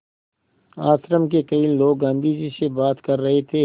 आश्रम के कई लोग गाँधी जी से बात कर रहे थे